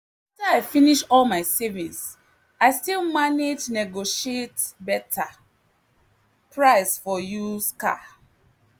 after i finish all my savings i still manage negotiate better price for used car.